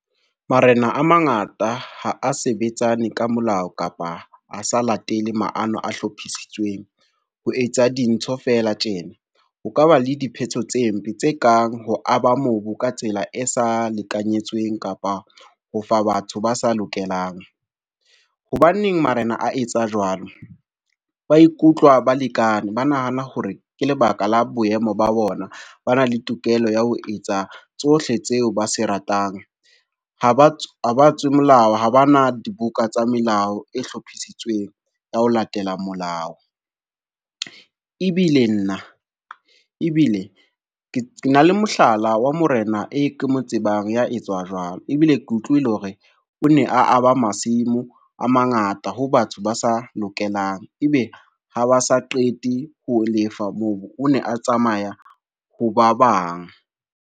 Marena a mangata ha a sebetsane ka molao kapa a sa latele maano a hlophisitsweng. Ho etsa dintho fela tjena ho ka ba le diphetso tse mpe tse kang ho aba mobu ka tsela e sa lekanyetsweng kapa ho fa batho ba sa lokelang. Hobaneng marena a etsa jwalo? Ba ikutlwa balekane ba nahana hore ke lebaka la boemo ba bona ba na le tokelo ya ho etsa tsohle tseo ba se ratang. Ha ba tswe molao ha bana dibuka tsa melao e hlophisitsweng ya ho latela molao. Ebile nna, ebile ke na le mohlala wa morena e ke mo tsebang ya etswa jwalo, ebile ke utlwile hore o ne a a ba masimo a mangata ho batho ba sa lokelang, ebe ha ba sa qete ho lefa moo o ne a tsamaya ho ba bang.